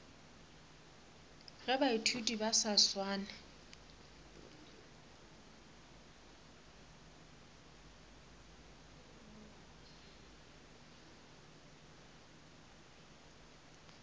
ge baithuti ba sa swane